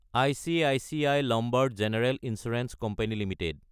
ICICI Lombard general insurance company Ltd